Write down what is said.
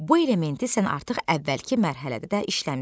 Bu elementi sən artıq əvvəlki mərhələdə də işləmisən.